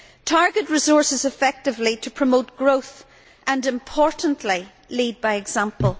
Target resources effectively to promote growth and, importantly, lead by example.